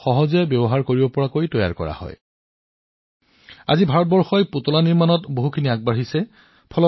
আৰু এই সমগ্ৰ প্ৰচেষ্টাৰ অন্যতম গুৰুত্বপূৰ্ণ কথা হল যে এই পুতলাবোৰ অংগনৱাড়ী শিশুসকলক খেলিবলৈ দিয়া হয়